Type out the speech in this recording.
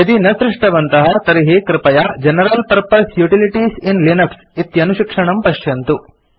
यदि न सृष्टवन्तः तर्हि कृपया general purpose utilities in Linux इति अनुशिक्षणं पश्यन्तु